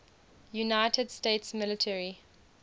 united states military